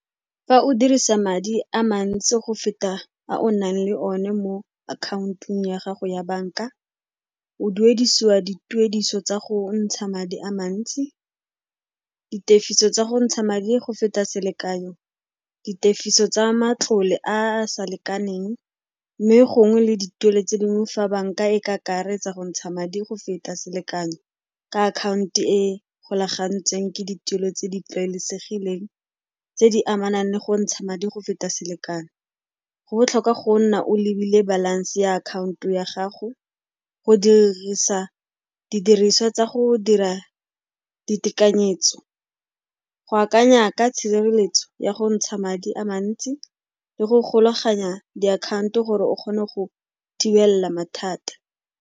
Fa o dirisa madi a mantsi go feta a o nang le one mo akhaontong ya gago ya banka, o duedisiwa dituediso tsa go ntsha madi a mantsi, ditefiso tsa go ntsha madi go feta selekanyo, ditefiso tsa matlole a a sa lekaneng mme gongwe le dituelo tse dingwe fa banka e ka akaretsa go ntsha madi go feta selekanyo ka akhaonto e golagantsweng ke dituelo tse di tlwaelesegileng tse di amanang le go ntsha madi go feta selekano. Go botlhokwa go nna o lebile balance ya akhaonto ya gago go dirisa didiriswa tsa go dira ditekanyetso, go akanya ka tshireletso ya go ntsha madi a mantsi le go golaganya diakhaonto gore o kgone go thibela mathata.